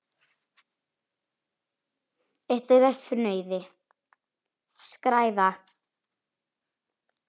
Eitt þeirra er fnauði: skræfa.